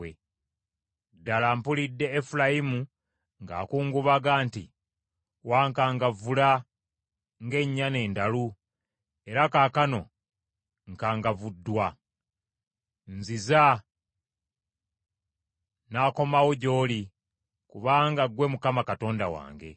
“Ddala mpulidde Efulayimu ng’akungubaga nti, ‘Wankangavvula ng’ennyana endalu era kaakano nkangavvuddwa. Nziza, n’akomawo gy’oli kubanga ggwe Mukama Katonda wange.